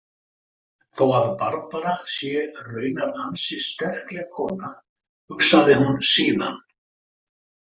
Þó að Barbara sé raunar ansi sterkleg kona, hugsaði hún síðan.